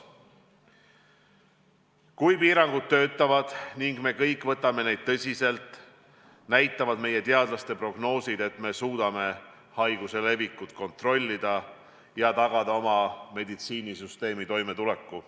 Kui piirangud töötavad ning me kõik suhtume neisse tõsiselt, näitavad meie teadlaste prognoosid, et suudame haiguse levikut kontrollida ja tagada oma meditsiinisüsteemi toimetuleku.